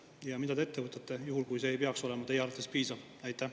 Ja mida te ette võtate juhul, kui see ei peaks olema teie arvates piisav?